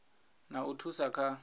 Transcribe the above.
na u thusa kha u